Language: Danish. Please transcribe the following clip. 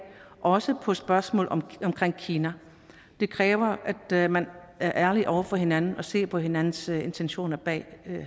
også på spørgsmål om kina det kræver at man er ærlig over for hinanden og ser på hinandens intentioner bag